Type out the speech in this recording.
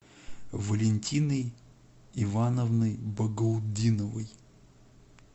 валентиной ивановной багаутдиновой